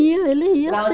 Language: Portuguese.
Ia, ele ia